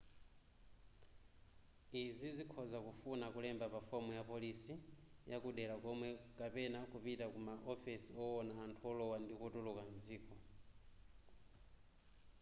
izi zikhoza kufuna kulemba pa fomu yapolisi yakudera komweko kapena kupita ku ma ofesi owona anthu olowa ndi kutuluka mdziko